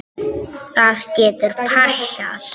Það getur passað.